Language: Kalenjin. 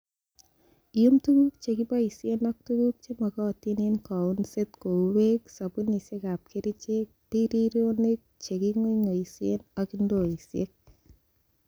Iyum tuguk che kiboishen ak tuguk chemogotin en kounset kou beek, sobunisiek ab kerichek, birironik, che kikong'oing'oen ak ndoisiek.